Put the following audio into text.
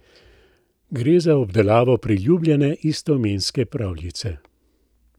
Gre za obdelavo priljubljene istoimenske pravljice.